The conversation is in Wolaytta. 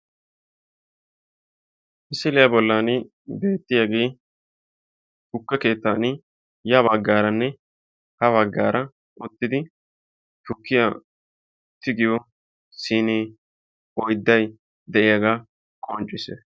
Misiliyaa bollaan beettiyaagee tukke keettan ya baggaaranne ha baggaara wottidi tukkiyaa tigiyoo siinee oydday de'iyaagaa qonccisees.